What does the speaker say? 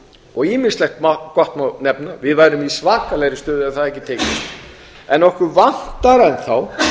og ýmislegt margt gott má nefna við værum í svakalegri stöðu ef það hefði ekki tekist en okkur vantar enn þá